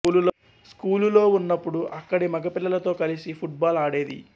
స్కూలులో వున్నప్పుడు అక్కడి మగపిల్లలతో కలిసి ఫుట్ బాల్ ఆడేది